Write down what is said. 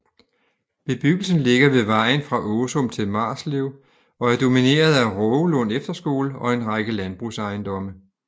Bebyggelsen ligger ved vejen fra Åsum til Marslev og er domineret af Rågelund Efterskole og en række landbrugsejendomme